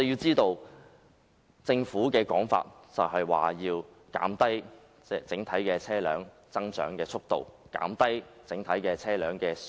政府解釋，此舉是要減低整體車輛增長的速度，從而減低整體車輛的數目。